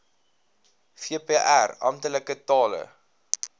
vpr amptelike tale